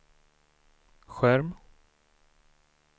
skärm